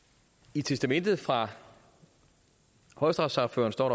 i testamentet fra højesteretssagføreren står